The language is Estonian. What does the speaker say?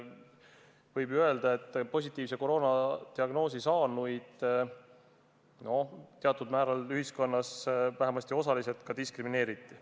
Võib öelda, et positiivse koroonadiagnoosi saanuid teatud määral, vähemasti osaliselt, ühiskonnas ka diskrimineeriti.